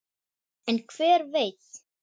En hver veit!